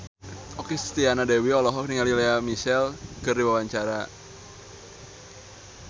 Okky Setiana Dewi olohok ningali Lea Michele keur diwawancara